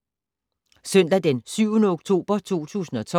Søndag d. 7. oktober 2012